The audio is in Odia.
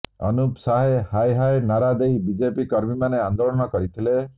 ଅନୁପ ସାଏ ହାଏ ହାଏ ନାରା ଦେଇ ବିଜେପି କର୍ମୀମାନେ ଆନ୍ଦୋଳନ କରିଥିଲେ